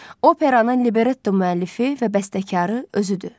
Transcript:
Operanın libretto müəllifi və bəstəkarı özüdür.